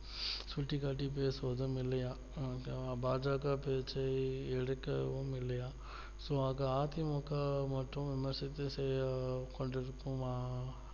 சுட்டி காட்டி பேசுவதும் இல்லையாம் ok வா பா ஜ க பேச்சை எடுக்கவும் இல்லையா so அ தி மு க மற்றும் விமர்சித்து செய்ய கொண்டிருக்கும்மா